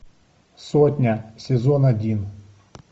сотня сезон один